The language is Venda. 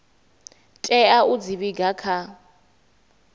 tea u dzi vhiga kha